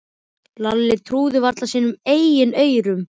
Lalli trúði varla sínum eigin eyrum.